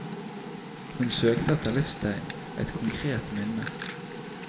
Hun søkte etter livstegn, et konkret minne.